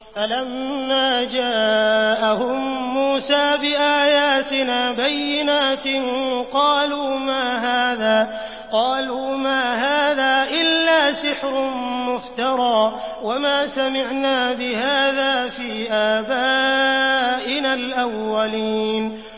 فَلَمَّا جَاءَهُم مُّوسَىٰ بِآيَاتِنَا بَيِّنَاتٍ قَالُوا مَا هَٰذَا إِلَّا سِحْرٌ مُّفْتَرًى وَمَا سَمِعْنَا بِهَٰذَا فِي آبَائِنَا الْأَوَّلِينَ